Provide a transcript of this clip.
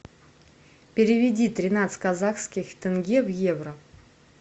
переведи тринадцать казахских тенге в евро